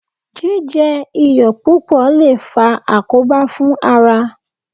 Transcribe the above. Jíjẹ iyọ̀ púpọ̀ lè faa àkóbá fún ara